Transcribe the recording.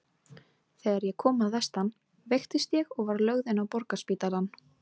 Þegar ég kom að vestan veiktist ég og var lögð inn á Borgarspítalann.